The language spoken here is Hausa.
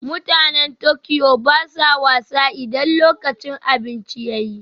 Mutanen Tokyo ba sa wasa idan lokacin cin abinci ya yi